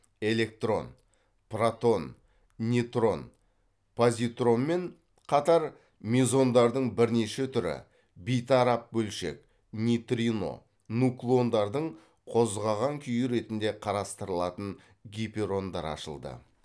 электрон протон нейтрон позитронмен қатар мезондардың бірнеше түрі бейтарап бөлшек нейтрино нуклондардың қозғаған күйі ретінде қарастырылатын гиперондар ашылды